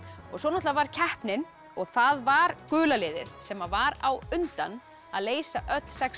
svo var keppnin og það var gula liðið sem var á undan að leysa öll sex